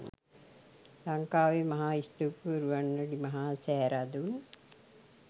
ලංකාවේ මහා ස්තූපය වූ රුවන්වැලි මහා සෑ රදුන්